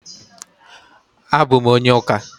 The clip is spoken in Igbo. A bụ m onye ụka